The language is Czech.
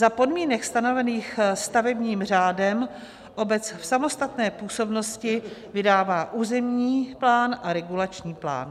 Za podmínek stanovených stavebním řádem obec v samostatné působnosti vydává územní plán a regulační plán.